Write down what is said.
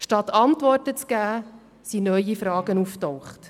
Statt Antworten zu geben, sind neue Fragen aufgetaucht.